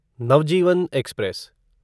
Navjeevan express